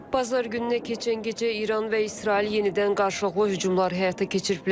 Bazar gününə keçən gecə İran və İsrail yenidən qarşılıqlı hücumlar həyata keçiriblər.